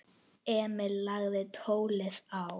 Emil lagði tólið á.